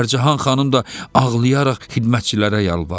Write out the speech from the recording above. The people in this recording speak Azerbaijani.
Pərcahan xanım da ağlayaraq xidmətçilərə yalvarır: